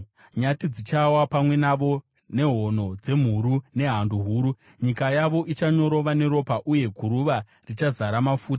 Nyati dzichawa pamwe navo nehono dzemhuru nehando huru. Nyika yavo ichanyorova neropa, uye guruva richazara mafuta.